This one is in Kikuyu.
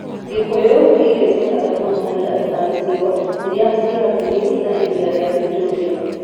Gĩkũyũ nĩ irio cia bata mũno harĩ andũ a icigo iria irĩ hakuhĩ na iria rĩa Victoria.